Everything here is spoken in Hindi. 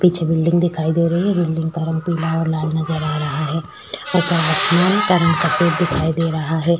पीछे बिल्डिंग दिखाई दे रही है बिल्डिंग का रंग पीला और लाल नज़र आ रहा है ऊपर आसमान का रंग सफ़ेद दिखाई दे रहा है।